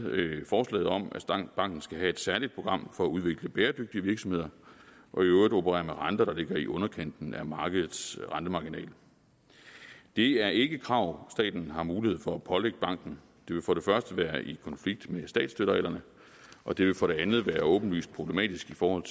forslaget om at banken skal have et særligt program for at udvikle bæredygtige virksomheder og i øvrigt opererer med renter der ligger i underkanten af markedets rentemarginal det er ikke krav staten har mulighed for at pålægge banken det vil for det første være i konflikt med statsstøttereglerne og det vil for det andet være åbenlyst problematisk i forhold